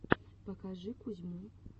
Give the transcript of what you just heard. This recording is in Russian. покажи кузьму